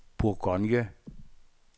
Bourgogne